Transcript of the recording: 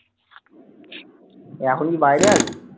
রাহুল কি বাইরে আজ?